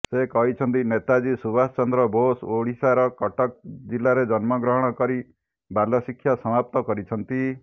ସେ କହିଛନ୍ତି ନେତାଜୀ ସୁଭାଷ ଚନ୍ଦ୍ର ବୋଷ ଓଡ଼ିଶାର କଟକ ଜିଲାରେ ଜନ୍ମଗ୍ରହଣ କରି ବାଲ୍ୟଶିକ୍ଷା ସମାପ୍ତ କରିଛନ୍ତି